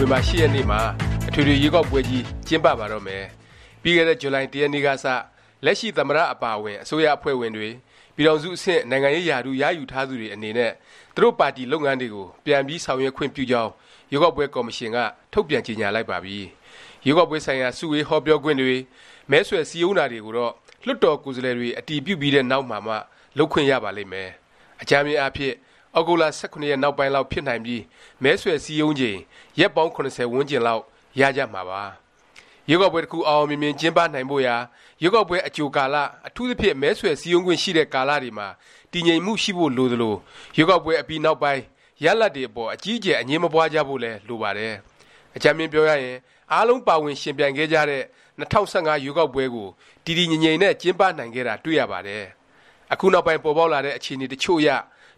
ဝင်ဘာ ၈ ရက်နေ့မှာ အထွေထွေ ရွေးကောက်ပွဲကြီး ကျင်းပပါတော့မယ်။ ပြီးခဲ့တဲ့ ဇူလိုင် ၁ ရက်နေ့ကစ လက်ရှိ သမ္မတ အပါအဝင် အစိုးရအဖွဲ့ဝင်တွေ၊ ပြည်ထောင်စု အဆင့် နိုင်ငံရေးရာထူး ရယူထားသူတွေ အနေနဲ့ သူတို့ ပါတီလုပ်ငန်းတွေကို ပြန်ပြီး ဆောင်ရွက်ခွင့် ပြုကြောင်း ရွေးကောက်ပွဲ ကော်မရှင်က ထုတ်ပြန်ကြေငြာလိုက်ပါပြီ။ ရွေးကောက်ပွဲဆိုင်ရာ စုဝေး ဟောပြောခွင့်တွေ၊ မဲဆွယ် စည်းရုံးတာတွေကိုတော့ လွှတ်တော်ကိုယ်စားလှယ်တွေ အတည်ပြုပြီးတဲ့ နောက်မှာမှ လုပ်ခွင့်ရပါလိမ့်မယ်။ အကြမ်းဖျဉ်းအားဖြင့် သြဂုတ်လ ၁၇ နောက်ပိုင်း လောက် ဖြစ်နိုင်ပြီး မဲဆွယ်စည်းရုံးချိန် ရက်ပါင်း ၇၀ ဝန်းကျင်လောက် ရကြမှာပါ။ ရွေးကောက်ပွဲတစ်ခု အောင်အောင်မြင်မြင် ကျင်းပနိုင်ဖို့ရာ ရွေးကောက်ပွဲ အကြိုကာလ အထူးသဖြင့် မဲဆွယ် စည်းရုံးခွင့်ရှိတဲ့ ကာလ တွေမှာ တည်ငြိမ်မှု ရှိဖို့လိုသလို၊ ရွေးကောက်ပွဲ အပြီးနောက်ပိုင်း ရလာဒ်တွေ အပေါ် အကြီးအကျယ် အငြင်းမပွားကြဖို့လည်း လိုပါတယ်။ အကြမ်းဖျဉ်းပြောရရင် အားလုံး ပါဝင်ယှဉ်ပြိုင်ခဲ့ကြတဲ့ ၂၀၁၅ ရွေးကောက်ပွဲကို တည်တည်ငြိမ်ငြိမ်နဲ့ ကျင်းပနိုင်ခဲ့တာ တွေ့ရပါတယ်။ အခုနောက်ပိုင်း ပေါ်ပေါက်လာတဲ့ အခြေအနေ တစ်ချို့အရ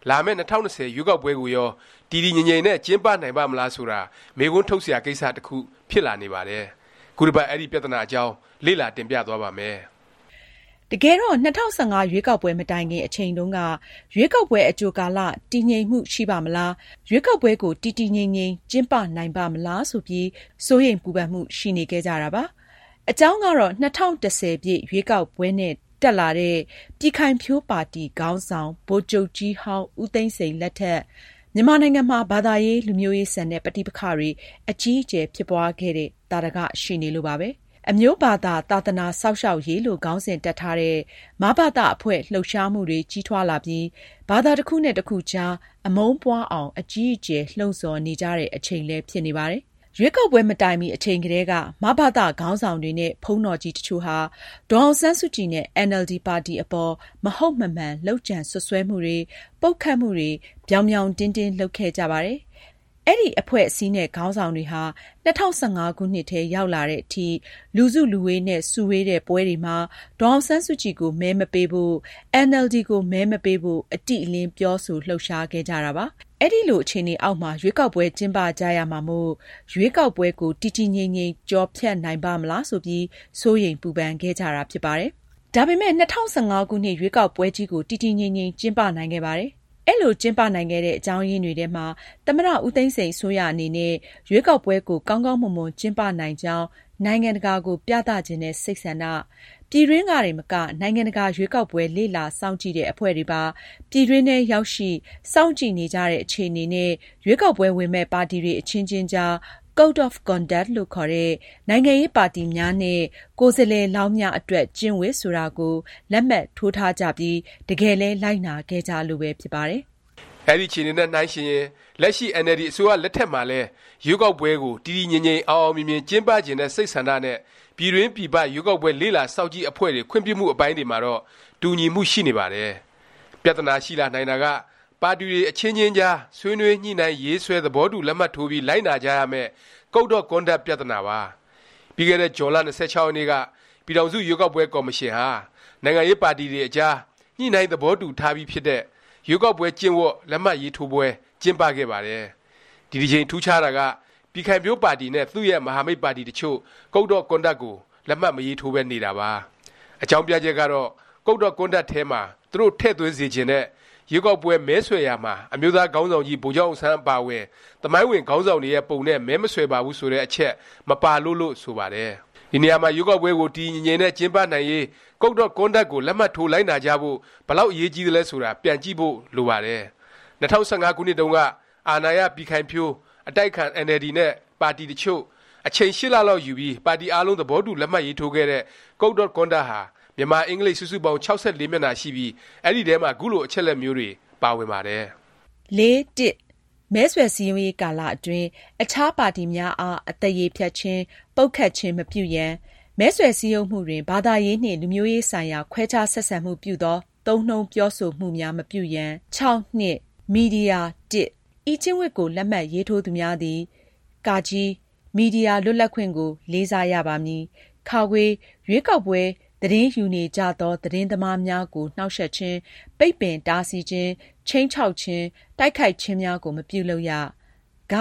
လာမယ့် ၂၀၂၀ ရွေးကောက်ပွဲကိုရော တည်တည်ငြိမ်ငြိမ်နဲ့ ကျင်းပနိုင်ပါ့မလား ဆိုတာ မေးခွန်းထုတ်စရာ ကိစ္စ တစ်ခု ဖြစ်လာနေပါတယ်။ ခုတစ်ပတ် အဲဒီ ပြသနာအကြောင်း လေ့လာ တင်ပြသွားပါ့မယ်။ တကယ်တော့ ၂၀၁၅ ရွေးကောက်ပွဲ မတိုင်ခင် အချိန်တုန်းက ရွေးကောက်ပွဲ အကြို ကာလ တည်ငြိမ်မှု ရှိပါ့မလား၊ ရွေးကောက်ပွဲကို တည်တည်ငြိမ်ငြိမ် ကျင်းပနိုင်ပါ့မလား၊ ဆိုပြီး စိုးရိမ်ပူပန်မှု ရှိနေခဲ့ကြတာပါ။ အကြောင်းကတော့ ၂၀၁၀ ရွေးကောက်ပွဲနဲ့ တက်လာတဲ့ ပြည်ခိုင်ဖြိုး ပါတီ ခေါင်းဆောင် ဗိုလ်ချုပ်ကြီးဟောင်း ဦးသိန်းစိန် လက်ထက် မြန်မာနိုင်ငံမှာ ဘာသာရေး၊ လူမျိုးရေးဆန်တဲ့ ပဋိပက္ခတွေ အကြီးအကျယ် ဖြစ်ပွားခဲ့တဲ့ သာဓက ရှိနေလို့ပါပဲ။ အမျိုးဘာသာ သာသနာ စောင့်ရှောက်ရေး လို့ ခေါင်းစဉ်တပ်ထားတဲ့ “မဘသ” အဖွဲ့ လှုပ်ရှားမှုတွေ ကြီးထွားလာပြီး ဘာသာ တစ်ခုနဲ့ တစ်ခုကြား အမုန်းပွားအောင် အကြီးအကျယ် လှုံ့ဆော်နေကြတဲ့ အချိန်လည်း ဖြစ်နေပါတယ်။ ရွေးကောက်ပွဲ မတိုင်မီ အချိန်ကတည်းက မဘသ ခေါင်းဆောင်တွေနဲ့ ဘုန်းတော်ကြီး တစ်ချို့ဟာ ဒေါ်အောင်ဆန်းစုကြည် နဲ့ အင်န်အယ်လ်ဒီ ပါတီ အပေါ် မဟုတ်မမှန် လုပ်ကြံ စွပ်စွဲမှုတွေ၊ ပုတ်ခတ်မှုတွေကို ပြောင်ပြောင်တင်းတင်း လုပ်ခဲ့ကြပါတယ်။ အဲဒီ အဖွဲ့အစည်းနဲ့ ခေါင်းဆောင်တွေဟာ ၂၀၁၅ ခုနှစ်ထဲ ရောက်လာသည် အထိ လူစုလူဝေးနဲ့ စုဝေးတဲ့ ပွဲတွေမှာ ဒေါ်အောင်ဆန်းစုကြည်ကို မဲမပေးဖို့၊ အင်န်အယ်လ်ဒီ ကို မဲမပေးဖို့ အတိအလင်း ပြောဆို လှုပ်ရှား ခဲ့ကြတာပါ။ အဲလို အခြေအနေအောက်မှာ ရွေးကောက်ပွဲ ကျင်းပကြရမှာမို့ ရွေးကောက်ပွဲကို တည်တည်ငြိမ်ငြိမ် ကျော်ဖြတ်နိုင်ပါ့မလား ဆိုပြီး စိုးရိမ်ပူပန်ခဲ့ကြတာ ဖြစ်ပါတယ်။ ဒါပေမယ့် ၂၀၁၅ ခုနှစ် ရွေးကောက်ပွဲကြီးကို တည်တည်ငြိမ်ငြိမ် ကျင်းပနိုင်ခဲ့ပါတယ်။ အဲလို ကျင်းပနိုင်ခဲ့တဲ့ အကြောင်းရင်းတွေထဲမှာ သမ္မတ ဦးသိန်းစိန် အစိုးရအနေနဲ့ ရွေးကောက်ပွဲကို ကောင်းကောင်းမွန်မွန် ကျင်းပနိုင်ကြောင်း နိုင်ငံတကာကို ပြသချင်တဲ့ စိတ်ဆန္ဒ၊ ပြည်တွင်းကတင်မက နိုင်ငံတကာ ရွေးကောက်ပွဲ လေ့လာစောင့်ကြည့်တဲ့ အဖွဲ့တွေပါ ပြည်တွင်းထဲ ရောက်ရှိ၊ စောင့်ကြည့်နေကြတဲ့ အခြေအနေ နဲ့ ရွေးကောက်ပွဲ ဝင်မယ့် ပါတီတွေ အချင်းချင်း အကြား Code of Conduct လို့ခေါ်တဲ့ “နိုင်ငံရေးပါတီများနှင့် ကိုယ်စားလှယ်လောင်းများ အတွက် ကျင့်ဝတ်” ဆိုတာကို လက်မှတ်ထိုးထားကြပြီး တကယ်လည်း လိုက်နာခဲ့ကြလို့ပဲ ဖြစ်ပါတယ်။ အဲဒီ အခြေအနေနဲ့ နှိုင်းယှဉ်ရင် လက်ရှိ အင်န်အယ်လ်ဒီ အစိုးရ လက်ထက်မှာလည်း ရွေးကောက်ပွဲကို တည်တည်ငြိမ်ငြိမ် အောင်အောင်မြင်မြင် ကျင်းပချင်တဲ့ စိတ်ဆန္ဒ နဲ့ ပြည်တွင်း ပြည်ပ ရွေးကောက်ပွဲ လေ့လာစောင့်ကြည့် အဖွဲ့တွေ ခွင့်ပြုမှု အပိုင်းတွေမှာတော့ တူညီမှု ရှိနေပါတယ်။ ပြသနာ ရှိလာနိုင်တာက ပါတီတွေ အချင်းချင်းကြား ဆွေးနွေး ညှိနှိုင်းရေးဆွဲ သဘောတူ လက်မှတ်ထိုးပြီး လိုက်နာကြရမယ့် Code of Conduct ပြသနာပါ။ ပြီးခဲ့တဲ့ ဇွန်လ ၂၆ ရက်နေ့က ပြည်ထောင်စု ရွေးကောက်ပွဲ ကော်မရှင်ဟာ နိုင်ငံရေးပါတီတွေအကြား ညှိနှိုင်း သဘောတူညီထားပြီး ဖြစ်တဲ့ “ ရွေးကောက်ပွဲကျင့်ဝတ်” လက်မှတ်ရေးထိုးပွဲ ကျင်းပခဲ့ပါတယ်။ ဒီတစ်ကြိမ် ထူးခြားတာက ပြည်ခိုင်ဖြိုးပါတီနဲ့ သူ့ရဲ့ မဟာမိတ် ပါတီ တစ်ချို့ Code of Conduct ကို လက်မှတ် မရေးထိုးပဲ နေတာပါ။ အကြောင်းပြချက်ကတော့ Code of Conduct ထဲမှာ သူတို့ ထည့်သွင်းစေချင်တဲ့ “ ရွေးကောက်ပွဲ မဲဆွယ်ရာမှာ အမျိုးသားခေါင်းဆောင်ကြီး ဗိုလ်ချုပ်အောင်ဆန်း အပါအဝင် သမိုင်းဝင် ခေါင်းဆောင်တွေရဲ့ ပုံနဲ့ မဲမဆွယ်ပါဘူး” ဆိုတဲ့ အချက် မပါလို့ လို့ ဆိုပါတယ်။ ဒီနေရာမှာ ရွေးကောက်ပွဲကို တည်တည်ငြိမ်ငြိမ်နဲ့ ကျင်းပနိုင်ရေး Code of Conduct ကို လက်မှတ်ထိုး လိုက်နာကြဖို့ ဘယ်လောက် အရေးကြီးသလဲ ဆိုတာ ပြန်ကြည့်ဖို့ လိုပါတယ်။ ၂၀၁၅ ခုနှစ်တုန်းက အာဏာရပြည်ခိုင်ဖြိုး၊ အတိုက်အခံ အင်န်အယ်လ်ဒီ နဲ့ ပါတီတစ်ချို့၊ အချိန် ၈ လလောက်ယူပြီး ပါတီအားလုံး သဘောတူ လက်မှတ်ရေးထိုးခဲ့တဲ့ Code of Conduct ဟာ မြန်မာ၊ အင်္ဂလိပ် စုစုပေါင်း ၆၄ မျက်နှာရှိပြီး အဲဒီထဲမှာ ခုလို အချက်အလက်မျိုးတွေ ပါဝင်ပါတယ်။ “၄.၁။မဲဆွယ်စည်းရုံးရေးကာလအတွင်း အခြားပါတီများအား အသရေဖျက်ခြင်း၊ ပုတ်ခတ်ခြင်း မပြုရန်။ မဲဆွယ်စည်းရုံးမှုတွင် ဘာသာရေးနှင့် လူမျိုးရေးဆိုင်ရာ ခွဲခြားဆက်ဆံမှုပြုသော သုံးနှုန်းပြောဆိုမှုများမပြုရန်။ ၆.၂။ မီဒီယာ၁။ ဤကျင့်ဝတ်ကို လက်မှတ်ရေးထိုးသူများသည် (က)မီဒီယာ လွတ်လပ်ခွင့်ကို လေးစားရပါမည်။(ခ) ရွေးကောက်ပွဲ သတင်းယူနေကြသော သတင်းသမားများကို နှောင့်ယှက်ခြင်း၊ပိတ်ပင် တားဆီးခြင်း၊ ခြိမ်းခြောက်ခြင်း၊တိုက်ခိုက်ခြင်းများကို မပြုလုပ်ရ။ (ဂ)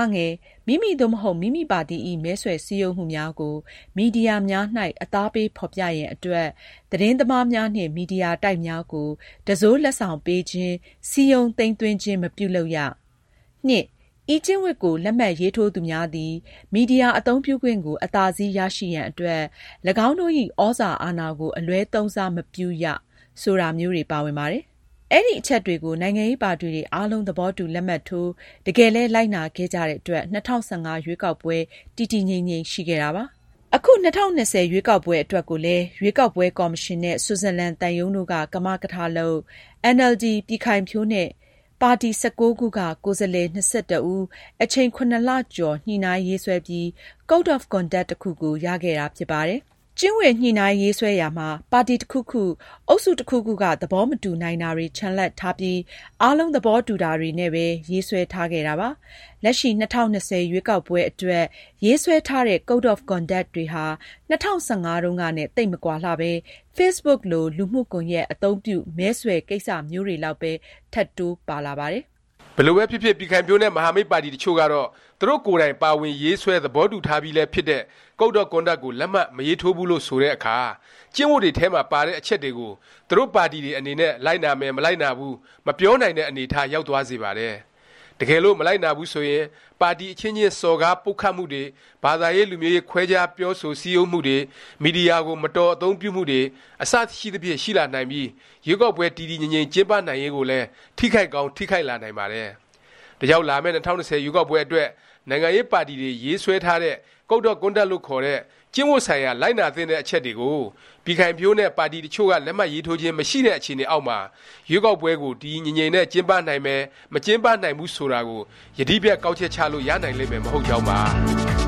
မိမိ သို့မဟုတ် မိမိပါတီ၏ မဲဆွယ်စည်းရုံးမှုများကို မီဒီယာများ၌ အသားပေးဖော်ပြရန်အတွက် သတင်းသမားများနှင့်မီဒီယာတိုက်များကို တံစိုးလက်ဆောင်ပေးခြင်း၊ စည်းရုံး သိမ်းသွင်းခြင်း မပြုလုပ်ရ။၂။ ဤကျင့်ဝတ်ကို လက်မှတ်ရေးထိုးသူများသည် မီဒီယာအသုံးပြုခွင့်ကို အသာစီးရရှိရန်အတွက်၎င်းတို့၏ ဩဇာအာဏာကို အလွဲသုံးစားမပြုရ”ဆိုတာမျိုးတွေ ပါဝင်ပါတယ်။ အဲဒီအချက်တွေကို နိုင်ငံရေးပါတီတွေ အားလုံး သဘောတူ လက်မှတ်ထိုး၊ တကယ်လည်း လိုက်နာခဲ့ကြတဲ့ အတွက် ၂၀၁၅ ရွေးကောက်ပွဲ တည်တည်ငြိမ်ငြိမ် ရှိခဲ့တာပါ။ အခု ၂၀၂၀ ရွေးကောက်ပွဲ အတွက်ကိုလည်း ရွေးကောက်ပွဲ ကော်မရှင်နဲ့ ဆွစ်ဇာလန် သံရုံးတို့က ကမကထ လုပ်၊ အင်န်အယ်လ်ဒီ၊ ပြည်ခိုင်ဖြိုး နဲ့ ပါတီ ၁၉ ခုက ကိုယ်စားလှယ် ၂၁ ဦး အချိန် ၇လကျော် ညှိနှိုင်းရေးဆွဲပြီး Code of Conduct တစ်ခုကို ရခဲ့တာ ဖြစ်ပါတယ်။ ကျင့်ဝတ် ညှိနှိုင်းရေးဆွဲရာမှာ ပါတီ တစ်ခုခု၊ အုပ်စု တစ်ခုခုက သဘောမတူနိုင်တာတွေ ချန်လှပ်ထားပြီး အားလုံး သဘောတူတာတွေနဲ့ပဲ ရေးဆွဲထားခဲ့တာပါ။ လက်ရှိ ၂၀၂၀ ရွေးကောက်ပွဲ အတွက် ရေးဆွဲထားတဲ့ Code of Conduct တွေဟာ ၂၀၁၅တုန်းကနဲ့ သိပ်မကွာလှပဲ Facebook လို လူမှုကွန်ယက် အသုံးပြု မဲဆွယ် ကိစ္စမျိုးတွေလောက်ပဲ ထပ်တိုးပါလာပါတယ်။ ဘယ်လိုပဲဖြစ်ဖြစ် ပြည်ခိုင်ဖြိုးနဲ့ မဟာမိတ် ပါတီ တစ်ချို့ကတော့ သူတို့ကိုယ်တိုင် ပါဝင် ရေးဆွဲ သဘောတူထားပြီးလည်း ဖြစ်တဲ့ Code of Conduct ကို လက်မှတ် မရေးထိုးဘူး လို့ ဆိုတဲ့အခါ ကျင့်ဝတ်တွေထဲမှာ ပါတဲ့ အချက်တွေကို သူတို့ ပါတီတွေ အနေနဲ့ လိုက်နာမယ်၊ မလိုက်နာဘူး မပြောနိုင်တဲ့ အနေအထား ရောက်သွားစေပါတယ်။ တကယ်လို့ မလိုက်နာဘူး ဆိုရင် ပါတီ အချင်းချင်း စော်ကား ပုတ်ခတ်မှုတွေ၊ ဘာသာရေး လူမျိုးရေး ခွဲခြား ပြောဆို စည်းရုံးမှုတွေ၊ မီဒီယာကို မတော် အသုံးပြုမှုတွေ အစရှိသဖြင့် ရှိလာနိုင်ပြီး၊ ရွေးကောက်ပွဲ တည်တည်ငြိမ်ငြိမ် ကျင်းပနိုင်ရေးကိုလည်း ထိခိုက်ကောင်း ထိခိုက်လာနိုင်ပါတယ်။ ဒါကြောင့် လာမယ့် ၂၀၂၀ ရွေးကောက်ပွဲ အတွက် နိုင်ငံရေးပါတီတွေ ရေးဆွဲ ထားတဲ့ Code of Conduct လို့ခေါ်တဲ့ ကျင့်ဝတ်ဆိုင်ရာ လိုက်နာသင့်တဲ့ အချက်တွေကို ပြည်ခိုင်ဖြိုးနဲ့ ပါတီ တစ်ချို့က လက်မှတ်ရေးထိုးခြင်း မရှိတဲ့ အခြေအနေအောက်မှာ ရွေးကောက်ပွဲကို တည်တည်ငြိမ်ငြိမ်နဲ့ ကျင်းပနိုင်မယ်၊ မကျင်းပနိုင်ဘူး ဆိုတာကို ယတိပြတ် ကောက်ချက်ချလို့ ရနိုင်လိမ့်မယ် မဟုတ်ကြောင်းပါ